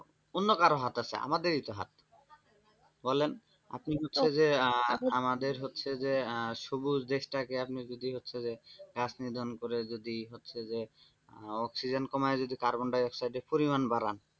আপনি বুঝছেন যে আহ আপনাদের আহ হচ্ছে যে সবুজ দেশটাকে আপনি যদি হচ্ছে গাছ নিধন করে যদি হচ্ছে যে অক্সিজেন কমায় যদি কার্বন-ডাই-অক্সাইডের পরিমাণ বাড়ান।